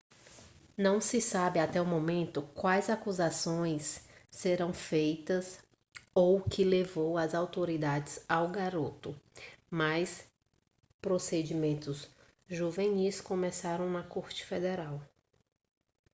não se sabe até o momento quais acusações serão feitas ou o que levou as autoridades ao garoto mas procedimentos juvenis começaram na corte federal